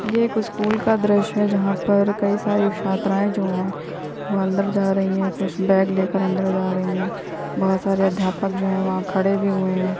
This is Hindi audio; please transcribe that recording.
ये कोई स्कूल का दृश्य है। जहाँ पर कई सारी छात्राएं जो हैं वो अंदर जा रही हैं कुछ बैग लेकर अंदर जा रही हैं बहुत सारे अध्यापक जो हैं वहाँ खड़े भी हुए हैं।